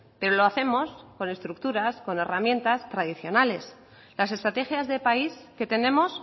pero lo hacemos con estructuras con herramientas tradicionales las estrategias de país que tenemos